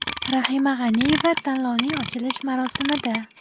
Rahima G‘aniyeva tanlovning ochilish marosimida.